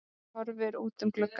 Hann horfði út um gluggann.